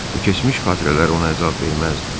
Bu keçmiş xatirələr ona əzab verməzdi.